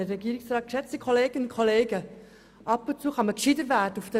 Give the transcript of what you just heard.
Ab und zu kann man in dieser Welt gescheiter werden.